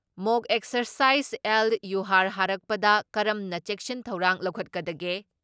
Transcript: ꯃꯣꯛ exercise ꯑꯦꯜ ꯌꯨꯍꯥꯔ ꯍꯥꯔꯛꯄꯗ ꯀꯔꯝꯅ ꯆꯦꯛꯁꯤꯟ ꯊꯧꯔꯥꯡ ꯂꯧꯈꯠꯀꯗꯒꯦ